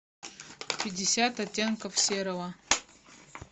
пятьдесят оттенков серого